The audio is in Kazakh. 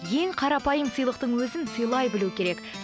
ең қарапайым сыйлықтың өзін сыйлай білу керек